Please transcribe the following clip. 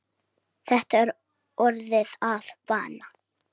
Þetta er orðið að vana.